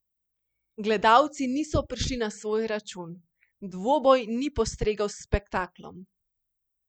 Gledalci niso prišli na svoj račun, dvoboj ni postregel s spektaklom.